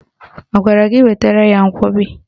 Ọ gwara gị wetara ya nkwọbi?